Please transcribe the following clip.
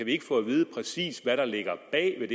ikke få at vide præcis hvad der ligger bag